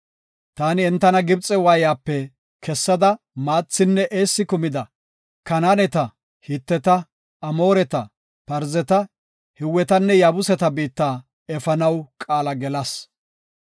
Taani entana Gibxe waayiyape kessada maathinne eessi kumida, Kanaaneta, Hiteta, Amooreta, Parzeta, Hiwetanne Yaabuseta biitta efanaw qaala gelas.